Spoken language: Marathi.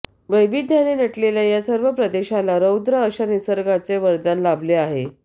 वैविध्याने नटलेल्या या सर्व प्रदेशाला रौद्र अश्या निसर्गाचे वरदान लाभले आहे